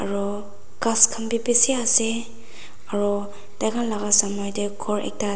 aru ghas khan bi bishi ase aru taikhan te ghor ekta.